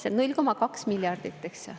Noh, 0,2 miljardit, eks ju.